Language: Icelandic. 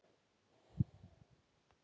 Þannig lifði afi vel.